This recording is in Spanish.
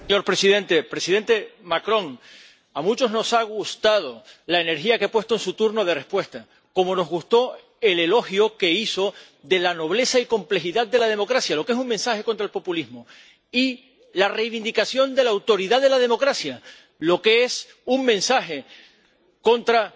Señor presidente, presidente Macron, a muchos nos ha gustado la energía que ha puesto en su turno de respuesta, como nos gustó el elogio que hizo de la nobleza y complejidad de la democracia lo que es un mensaje contra el populismo y la reivindicación de la autoridad de la democracia lo que es un mensaje contra